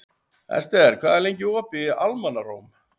Esther, hvað er lengi opið í Almannaróm?